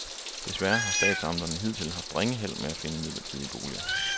Desværre har statsamterne hidtil haft ringe held med at finde midlertidige boliger.